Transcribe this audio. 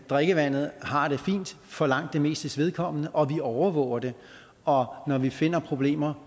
drikkevandet har det fint for langt det mestes vedkommende og vi overvåger det og når vi finder problemer